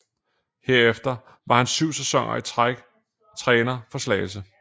Herefter var han syv sæsoner i træk træner for Slagelse